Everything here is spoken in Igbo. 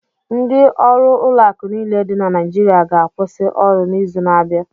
Ndị ọrụ ụlọakụ niile dị na Naịjirịa ga-akwụsị ọrụ n'izu n'abịa.